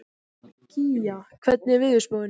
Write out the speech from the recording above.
Kía, hvernig er veðurspáin?